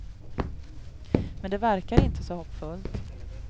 Men det verkar inte så hoppfullt.